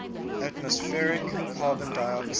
atmospheric carbon dioxide